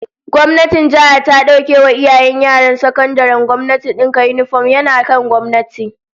Gwamnatin jiha ta dauke wa iyayen yaran sakandaren gwamnati dinka yinifom, yana kan gwamnati